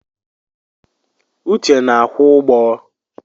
Uche na akwụ ụgbọ.